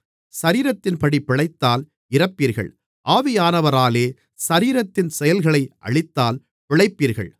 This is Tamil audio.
சரீரத்தின்படி பிழைத்தால் இறப்பீர்கள் ஆவியானவராலே சரீரத்தின் செயல்களை அழித்தால் பிழைப்பீர்கள்